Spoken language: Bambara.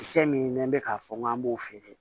Kisɛ min n'an bɛ k'a fɔ n k'an b'o feere